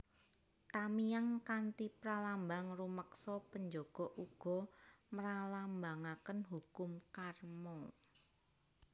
Tamiang kanthi pralambang rumeksa penjaga uga mralambangaken hukum karma